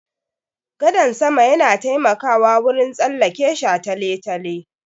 Gadan sama yana taimakawa wurin tsallake shataletale.